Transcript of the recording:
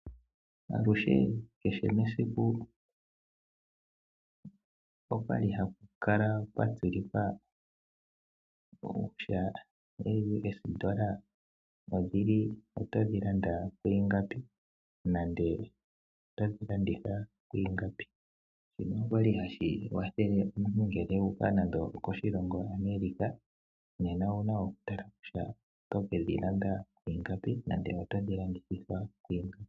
Aluhe kehe mesiku okwa li haku kala kwa tsilikwa kutya ooUS$ otodhi landa ku ingapi nenge otodhi landitha kwiingapi. Shika osha li hashi kwathele omuntu ngele u uka nenge okoshilongo shokoAmerica nena owu na okutala kutya otoke dhi landa nenge oto dhi landa kwiingapi.